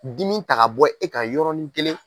Dimi ta ka bɔ e ka yɔrɔin kelen!